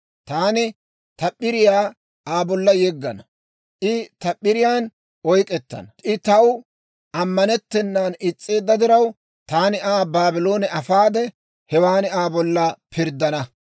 Taani ta p'iriyaa Aa bolla yeggana, I ta p'iriyaan oyk'k'ettana. I taw ammanettennan is's'eedda diraw, taani Aa Baabloone afaade, hewan Aa bolla pirddana.